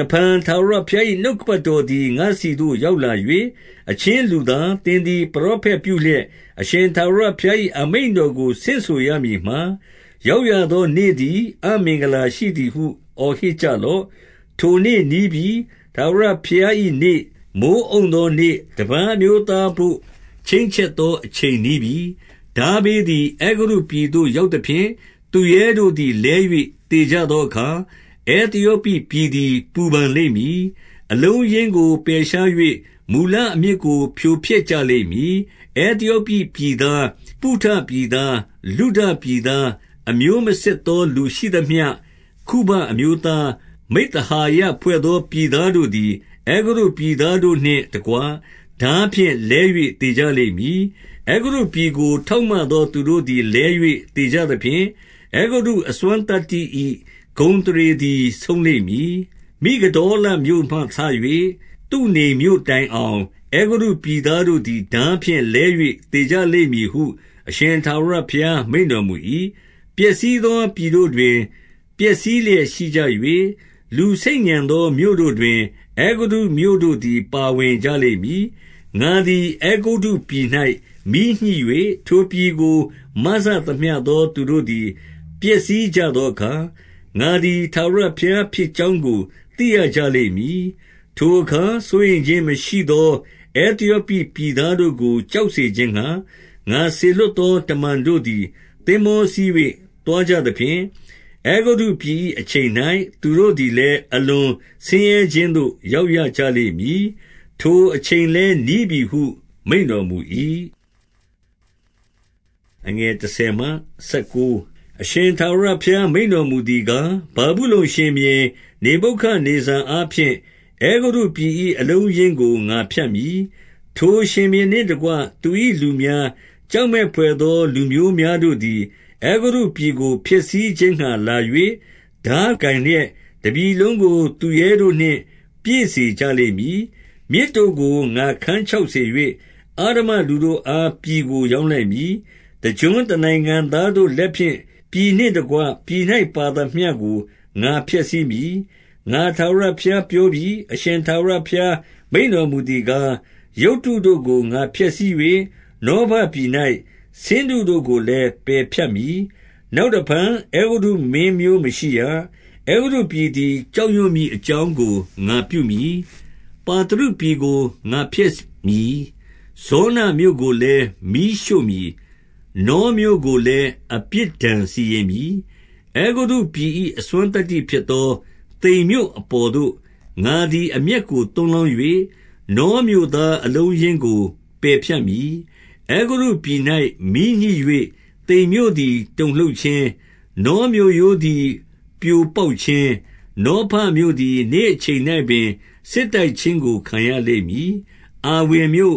တဖန်ထာဝရဘုရား၏ နှုတ်ကပတ်တော်သည် ငါ့ဆီသို့ ရောက်လာ၍၊ 2 အချင်းလူသား၊ သင်သည် ပရောဖက်ပြုလျက်၊ အရှင်ထာဝရဘုရား၏အမိန့်တော်ကို ဆင့်ဆိုရမည်မှာ၊ ရောက်ရသောနေ့သည် အမင်္ဂလာရှိသည်ဟု အော်ဟစ် ကြလော့။ 3 ထိုနေ့နီးပြီ။ ထာဝရဘုရား၏နေ့၊ မိုဃ်းအုံသော နေ့၊ တပါးအမျိုးသားဘို့ ချိန်းချက်သော အချိန်နီးပြီ။ 4 ထားဘေးသည် အဲဂုတ္တုပြည်သို့ ရောက်သဖြင့်၊ သူရဲတို့သည် လဲ၍သေကြသောအခါ၊ အဲသယောပိပြည် သည် ပူပန်လိမ့်မည်။ အလုံးအရင်းကို ပယ်ရှား၍ မူလ အမြစ်ကို ဖြိုဖျက်ကြလိမ့်မည်။ 5 အဲသယောပိပြည်သား၊ ဖုတပြည်သား၊ လုဒ ပြည်သား၊ အမျိုးမစစ်သော လူရှိသမျှ၊ ခုဘအမျိုးသား၊ မိဿဟာယဖွဲ့သော ပြည်သားတို့သည်၊ အဲဂုတ္တုပြည်သား တို့နှင့်တကွ ထားဖြင့် လဲ၍သေကြလိမ့်မည်။ 6 အဲဂုတ္တုပြည်ကို ထောက်မသောသူတို့သည် လဲ၍သေကြသဖြင့်၊ အဲဂုတ္တုအစွမ်းသတ္တိ၏ ဂုဏ်အသရေ သည် ဆုံးလိမ့်မည်။ မိဂဒေါလမြို့မှစ၍ သုဏေမြို့ တိုင်အောင် အဲဂုတ္တုပြည်သားတို့သည် ထားဖြင့်လဲ၍ သေကြလိမ့်မည်ဟု အရှင်ထာဝရဘုရားမိန့်တော်မူ၏။ 7 ပျက်စီးသော ပြည်တို့တွင် ပျက်စီးလျက်ရှိကြ၍၊ လူဆိတ်ညံသော မြို့တို့တွင် အဲဂုတ္တုမြို့တို့သည် ပါဝင်ကြ လိမ့်မည်။ 8 ငါသည် အဲဂုတ္တုပြည်၌ မီးညှိ၍ ထိုပြည်ကို မစသမျှသော သူတို့သည် ပျက်စီးကြသောအခါ၊ ငါသည် ထားဝရဘုရားဖြစ်ကြောင်းကို သိရကြလိမ့်မည်။ 9 ထိုအခါစိုးရိမ်ခြင်းမရှိသော အဲသယောပိပြည် သားတို့ကို ကြောက်စေခြင်းငှါ၊ ငါစေလွှတ်သော တမန်တို့ သည် သင်္ဘောစီး၍ သွားကြသဖြင့်။ အဲဂုတ္တပြည်၏ အချိန်၌ သူတို့သည်လည်း အလွန်ဆင်ရဲခြင်းသို့ ရောက်ရ ကြလိမ့်မည်။ ထိုအချိန်လည်းနီးပြီဟု မိန့်တော်မူ၏။ 10 အရှင်ထာဝရဘုရား မိန့်တော်မူသည်ကား၊ ဗာဗုလုန်ရှင်ဘုရင် နေဗုခဒ်နေဇာအားဖြင့် အဲဂုတ္တုပြည် ၏ အလုံးအရင်းကို ငါဖြတ်မည်။ 11 ထိုရှင်ဘုရင်နှင့်တကွ သူ၏လူများ၊ ကြောက် မက်ဘွယ်သော လူမျိုးများတို့သည် အဲဂုတ္တုပြည်ကို ဖျက်ဆီးခြင်းငှါလာ၍၊ ထားကိုင်လျက် တပြည်လုံးကို သူရဲတို့နှင့် ပြည့်စေကြလိမ့်မည်။ 12 မြစ်တို့ကို ငါခန်းခြောက်စေ၍၊ အဓမ္မလူတို့အား ပြည်ကို ရောင်းလိုက်မည်။ တကျွန်းတနိုင်ငံသားတို့ လက်ဖြင့် ပြည်နှင့်တကွပြည်၌ ပါသမျှကို ငါဖျက်ဆီးမည်။ ငါထာဝရဘုရား ပြောပြီ။ 13 အရှင်ထာဝရ ဘုရားမိန့်တော်မူသည်ကား၊ ရုပ်တုတို့ကို ငါဖျက်ဆီး၍၊ နောဖပြည်၌ ဆင်းတုတို့ကို လည်း ပယ်ဖြတ်မည်။ နောက်တဖန် အဲဂုတ္တုမင်းမျိုးမရှိရ။ အဲဂုတ္တုပြည်သည် ကြောက်ရွံ့မည်အကြောင်းကို ငါပြု မည်။ 14 ပါသရုပြည်ကို ငါဖျက်မည်။ ဇောနမြို့ကိုလည်း မီးရှို့မည်။ နောမြို့ကိုလည်း အပြစ်ဒဏ်စီရင်မည်။ 15 အဲဂုတ္တုပြည်၏ အစွမ်းသတ္တိဖြစ်သော သိန်မြို့ အပေါ်သို့ ငါသည် အမျက်ကို သွန်းလောင်း၍၊ နောမြို့ သား အလုံးအရင်းကို ပယ်ဖြတ်မည်။ 16 အဲဂုတ္တုပြည်၌ မီးညှိ၍ သိန်မြို့သည် တုန်လှုပ် ခြင်း၊ နောမြို့ရိုးသည် ပြိုပေါက်ခြင်း၊ နောဖမြို့သည် နေ့အချိန်၌ပင် စစ်တိုက်ခြင်းကို ခံရလိမ့်မည်။ 17 အာဝင်မြို့